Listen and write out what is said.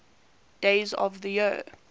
days of the year